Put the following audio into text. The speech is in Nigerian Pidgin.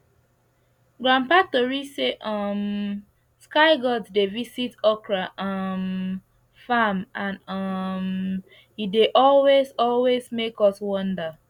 grandpa tori say um sky gods dey visit okra um farm and um e dey always always make us wonder